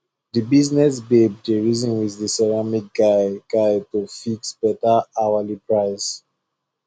the business babe dey reason with the ceramic guy guy to fix better hourly price